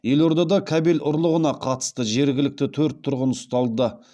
елордада кабель ұрлығына қатысты жергілікті төрт тұрғын ұсталды